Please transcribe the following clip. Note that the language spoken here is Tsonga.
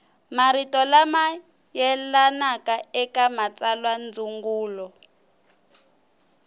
marito lama yelanaka eka matsalwandzungulo